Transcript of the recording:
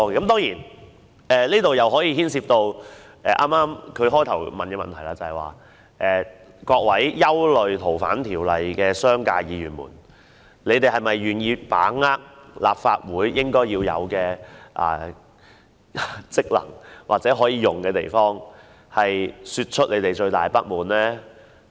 當然，這點涉及他最初提出的問題：各位憂慮《逃犯條例》的商界議員，你們是否願意把握立法會應有的職能及權力，表達你們最大的不滿？